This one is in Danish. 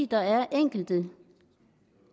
der er enkelte